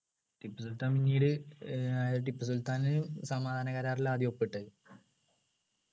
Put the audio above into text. ടിപ്പുസുൽത്താൻ പിന്നീട് ഏർ ടിപ്പുസുൽത്താന് സമാധാന കരാറില് ആദ്യം ഒപ്പിട്ടത്